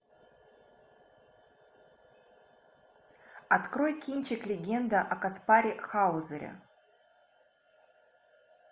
открой кинчик легенда о каспаре хаузере